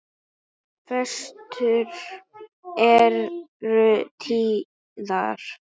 Föstur eru tíðar.